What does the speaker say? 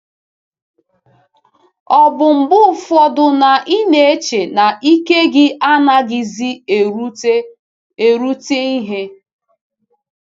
Ọ̀ bụ mgbe ụfọdụ na ị na-eche na ike gị adịghịzi erute erute ihe?